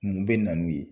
Mun bɛ na n'u ye